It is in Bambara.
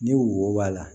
Ni wo b'a la